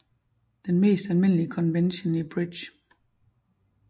Den mest almindelige konvention i Bridge